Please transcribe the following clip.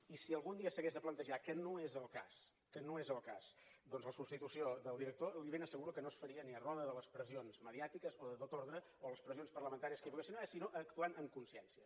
i si algun dia s’hagués de plantejar que no és el cas que no és el cas doncs la substitució del director li ben asseguro que no es faria ni a roda de les pressions mediàtiques i de tot ordre o de les pressions parlamentàries que hi poguessin haver sinó actuant en consciència